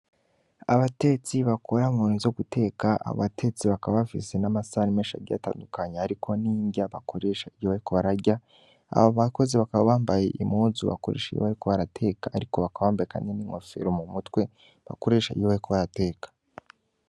Abatetsi bakora mu bintu vyo guteka, abo batetsi bakaba bafise n'amasahani menshi agiye atandukanye ariko n'inrya bakoresha iyo bariko bararya, abo bakozi bakaba bambaye impuzu bakoresha iyo bariko barateka, ariko bakaba bambaye n'inkofero m'umutwe bakoresha iyo bariko barateka.